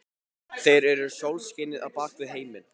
Þeir eru sólskinið á bak við heiminn.